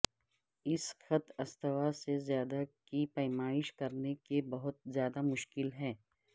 اس خط استوا سے زیادہ کی پیمائش کرنے کے بہت زیادہ مشکل ہے